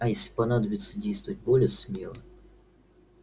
а если понадобится действовать более смело